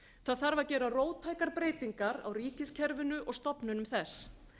það þarf að gera róttækar breytingar á ríkiskerfinu og stofnunum þess